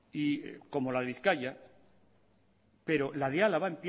como la de bizkaia pero la de álava